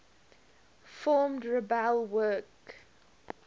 formed rebel group